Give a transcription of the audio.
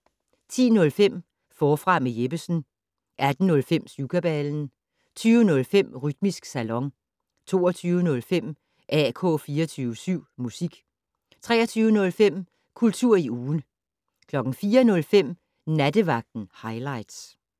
10:05: Forfra med Jeppesen 18:05: Syvkabalen 20:05: Rytmisk Salon 22:05: AK 24syv Musik 23:05: Kultur i ugen 04:05: Nattevagten Highligts